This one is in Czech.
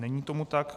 Není tomu tak.